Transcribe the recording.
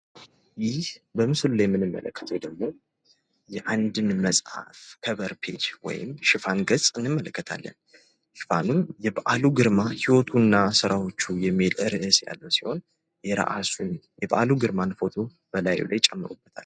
ይህ በምስሉ ላይ የምንመለከተዉ ደግሞ የአንድን መፅሀፍ ከቨር ፔጅ ወይም ሽፋኑን ገፅ እንመለከታለን። ሽፋኑም የበዓሉ ግርማ ህይወቱና ስራዎቹ የሚል ርዕስ ያለዉ ሲሆን፤ የራሱን የበዓሉ ግርማ ፎቶ ጨምሮበታል።